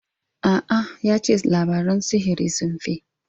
A'a, ya ce labaran sihiri sun fi.